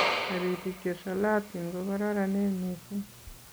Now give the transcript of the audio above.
Toritik chisolotin kukororonen missing.